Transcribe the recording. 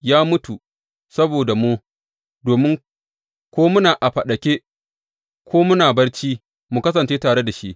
Ya mutu saboda mu domin, ko muna a faɗake ko muna barci, mu kasance tare da shi.